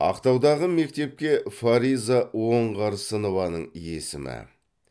ақтаудағы мектепке фариза оңғарсынованың есімі